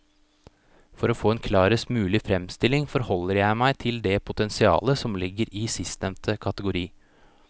For å få en klarest mulig fremstilling forholder jeg meg til det potensialet som ligger i sistnevnte kategori.